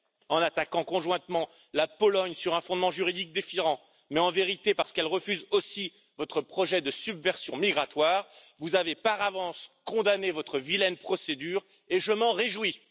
En attaquant conjointement la Pologne sur un fondement juridique différent, mais, en vérité, parce qu'elle refuse aussi votre projet de subversion migratoire, vous avez par avance condamné votre vilaine procédure, et je m'en réjouis.